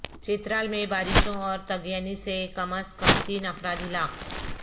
چترال میں بارشوں اور طغیانی سے کم ازکم تین افراد ہلاک